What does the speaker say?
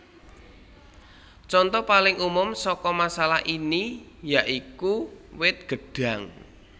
Conto paling umum saka masalah ini ya iku wit gedhang